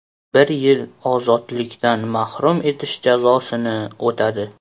Bir yil ozodlikdan mahrum etish jazosini o‘tadi.